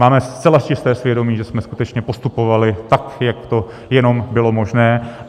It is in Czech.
Máme zcela čisté svědomí, že jsme skutečně postupovali tak, jak to jenom bylo možné.